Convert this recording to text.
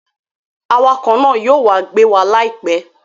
Awakọ̀ náà yóò wá gbé wa láìpẹ́